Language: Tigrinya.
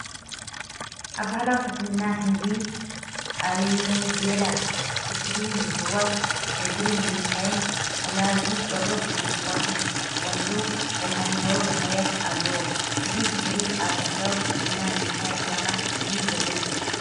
ኣብ ባህላዊ ሕክምና ህንዲ (ኣዩርቬዳ)፡ ቁስሊ ንምፍዋስ፡ ነድሪ ንምንካይን ኣለርጂ ቆርበት ንምፍዋስን ዝጥቀሙሉ መድሃኒታዊ ባህርያት ኣለዎ። እዚ ተኽሊ ኣብ ባህላዊ ሕክምና ንምንታይ ዕላማ እዩ ዘገልግል?